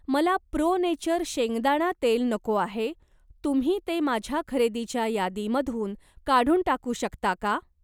मला Pro Nature शेंगदाणा तेल नको आहे, तुम्ही ते माझ्या खरेदीच्या यादीमधून काढून टाकू शकता का?